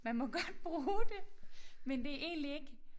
Man må godt bruge det men det egentlig ikke